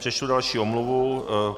Přečtu další omluvu.